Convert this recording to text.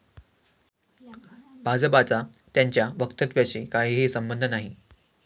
भाजपाचा त्यांच्या वक्तव्याशी काहीही संबंध नाही.